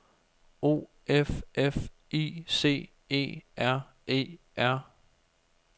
O F F I C E R E R